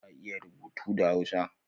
Ka iya rubutu da hausa?